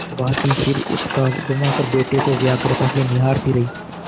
भाँति सिर उचकाघुमाकर बेटे को व्यग्रता से निहारती रही